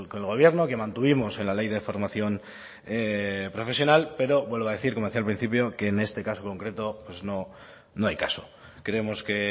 el gobierno que mantuvimos en la ley de formación profesional pero vuelvo a decir como decía al principio que en este caso concreto pues no hay caso creemos que